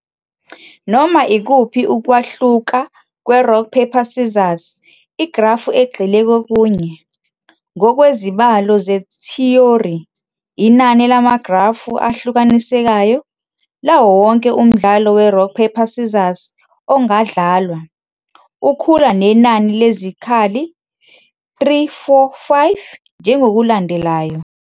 Noma ikuphi ukwahluka kwe-Rock Paper Scissors igrafu egxile kokunye. Ngokwezibalo zethiyori, inani lamagrafu ahlukanisekayo, lawo wonke umdlalo weRock Paper Scissors ongadlalwa, ukhula nenani lezikhali 3, 4, 5, njengokulandelayo.